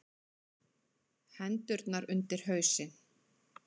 Hendurnar undir hausinn.